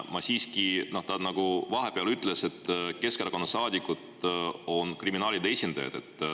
Aga siiski, vahepeal ta ütles, et Keskerakonna saadikud on kriminaalide esindajad.